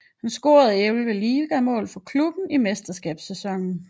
Han scorede elleve ligamål for klubben i mesterskabssæsonen